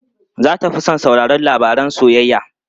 Za ta fi son sauraron labaran soyayya.